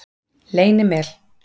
Leynimel